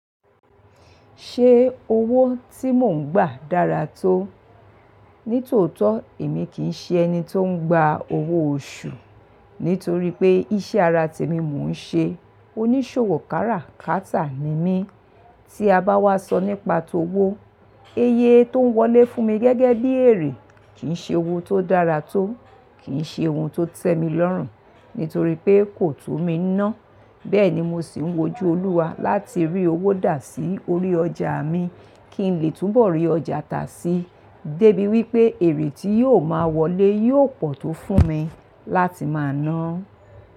Ṣe owo tí mò ń gbà dára tó? Nítòótó èmi kì í ṣe ẹni tó ń gba owó oṣù, nítorí pé iṣẹ́ ara tèmi mo ń ṣe oníṣòwò kára, káta ni mí. Tí a bá wá sọ nípa tó wó, è yẹ tó ń wọlé fún mi gẹ́gẹ́ bí èrè kì í ṣe owó tó dára tó, kì í ṣe ohun tó tẹ́ mi lọ́rùn, nítorí pé kò tú mi ná. Bẹ́ẹ̀ ni mo sì ń wojú Olúwa láti rí owó dà sí orí ọjà mi kí n lè túnbọ̀ rí ọjà ta sí, débi wípé èrè tí yóò máa wọlé yóò pọ̀ tó fún mi láti máa ná.